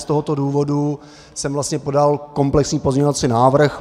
Z tohoto důvodu jsem vlastně podal komplexní pozměňovací návrh.